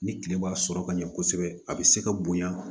Ni tile ma sɔrɔ ka ɲɛ kosɛbɛ a bɛ se ka bonya